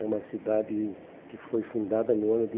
É uma cidade que foi fundada no ano de